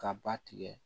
Ka ba tigɛ